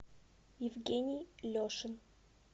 евгений лешин